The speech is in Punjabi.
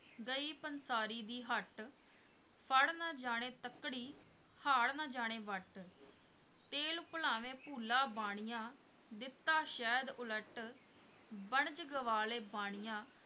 ਗਈ ਪੰਸਾਰੀ ਦੀ ਹੱਟ, ਫੜ੍ਹ ਨਾ ਜਾਣੇੇ ਤੱਕੜੀ, ਹਾੜ ਨਾ ਜਾਣੇ ਵੱਟ ਤੇਲ ਭੁਲਾਵੇਂ ਭੁੱਲਾ ਬਾਣੀਆ, ਦਿੱਤਾ ਸ਼ਹਿਦ ਉਲੱਟ, ਬਣਜ ਗਵਾ ਲਏ ਬਾਣੀਆਂ,